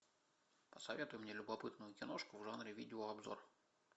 посоветуй мне любопытную киношку в жанре видеообзор